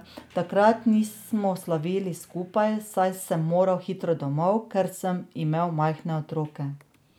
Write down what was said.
Takrat nismo slavili skupaj, saj sem moral hitro domov, ker sem imel majhne otroke.